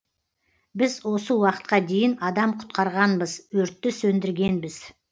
біз осы уақытқа дейін адам құтқарғанбыз өртті сөндіргенбіз